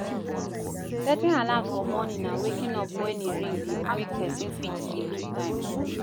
Setting alarm for morning and waking up when e ring de make persin fit keep to time